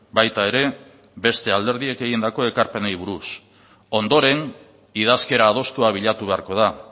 baita ere beste alderdiek egindako ekarpenei buruz ondoren idazkera adostua bilatu beharko da